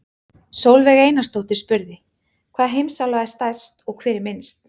Sólveig Einarsdóttir spurði: Hvaða heimsálfa er stærst og hver er minnst?